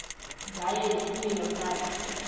ngaye nesimilo sakhe